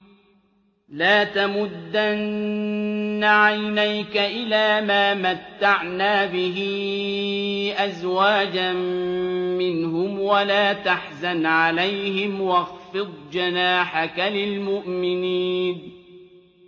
لَا تَمُدَّنَّ عَيْنَيْكَ إِلَىٰ مَا مَتَّعْنَا بِهِ أَزْوَاجًا مِّنْهُمْ وَلَا تَحْزَنْ عَلَيْهِمْ وَاخْفِضْ جَنَاحَكَ لِلْمُؤْمِنِينَ